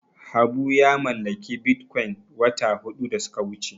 Habu ya mallaki Bitcoin wata huɗu da suka wuce.